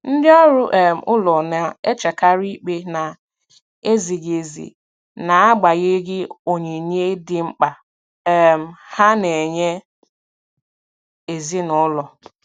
Ndị ọrụ um ụlọ na-echekarị ikpe na-ezighị ezi n'agbanyeghị onyinye dị mkpa um ha na-enye ezinụlọ.